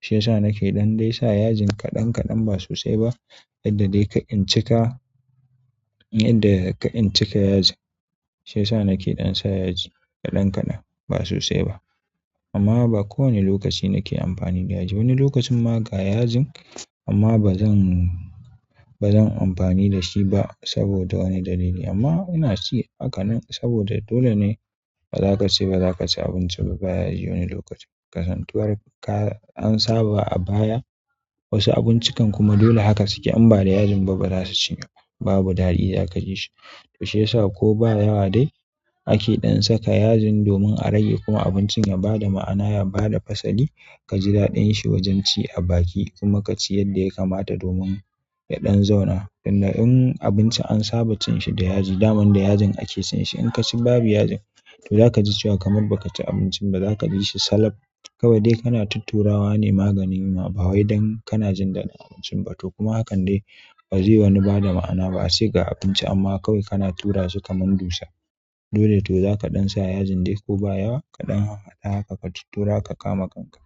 shi ya sa na ke ɗan dai sa yajin kaɗan kaɗan ba sosai ba yadda dai kar in cika yadda kar in cika yajin, shi ya sa na ke ɗan sa yaji kaɗan kaɗan ba sosai ba amma ba kowane lokaci na ke amfani da yaji wani lokacin ma ga yajin amma ba zan ba zan amfani da shi ba saboda wani dalili. Amma ina ci haka nan saboda dole ne ba za ka ce ba za ka ci abinci ba ba yaji wani lokaci kasantuwar ka an saba a baya wasu abincikan kuma dole haka suke in ba da yajin ba ba za su shiga ba babu daɗi za ka ji shi, to shiyasa ko ba yawa dai ake ɗan saka yajin domin a rage kuma abincin ya ba da ma'ana ya ba da fasali ka ji daɗin shi wajen ci a baki kuma ka ci yadda ya kamata domin ya ɗan zauna. Tunda in abinci an saba cin shi da yaji daman da yajin ake cin shi in ka ci babu yajin to za ka ji cewa kamar ba ka ci abinci ba za ka ji shi salaf kawai dai kana tutturawa ne maganin yunwa ba wai dan kana jin daɗin abincin ba to kuma hakan dai ba zai wani ba da ma'ana ba a ce ga abinci amma kawai kana tura su kamar dutse dole to za ka ɗan sa yajin dai ko ba yawa ka ɗan harhaɗa haka ka tuttura ka kama kanka.